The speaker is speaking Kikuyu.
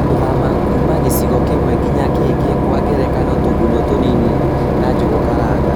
gũthama kuma gĩcigo kĩmwe nginya kĩngĩ Kwa ngerekano tũgunyo tũnini wa njũgũ karanga